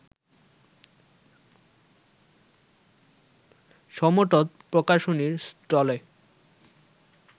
সমতট প্রকাশনীর স্টলে